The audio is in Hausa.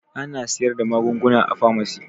Ana sayar da magunguna a famasi